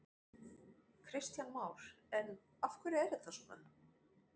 Kristján Már: En af hverju er þetta svona?